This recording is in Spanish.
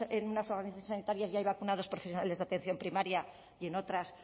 en unas organizaciones sanitarias ya hay vacunados profesionales de atención primaria y en otras